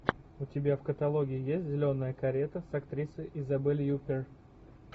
у тебя в каталоге есть зеленая карета с актрисой изабель юппер